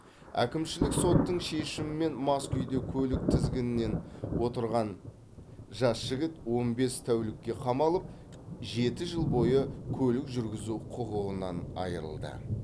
әкімшілік соттың шешімімен мас күйде көлік тізгінінен отырған жас жігіт он бес тәулікке қамалып жеті жыл бойы көлік жүргізу құқығынан айырылды